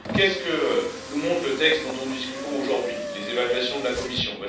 Que nous montrent le texte dont nous discutons aujourd'hui et les évaluations de la Commission?